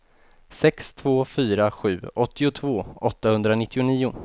sex två fyra sju åttiotvå åttahundranittionio